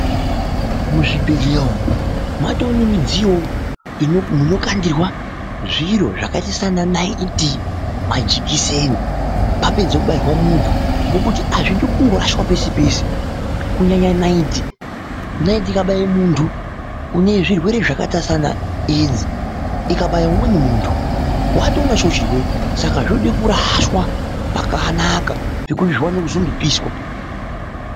Muzvibhedhleya umu matove nemidziyowo munokandirwa zviro zvakaita saana naiti , majikiseni apedza kubairwa muntu ngokuti azvidi kungorashwa peshe peshe kunyanya naiti. Naiti ikabaya muntu unezvirwere zvakaita saana edzi ikabaya umweni muntu watoonachowo chirwere saka zvoda kurashwa pakanaka zviwane kuzondopishwa